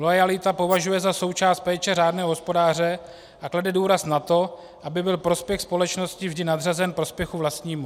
Loajalitu považuje za součást péče řádného hospodáře a klade důraz na to, aby byl prospěch společnosti vždy nadřazen prospěchu vlastnímu.